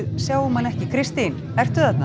sjáum hana ekki Kristín ertu þarna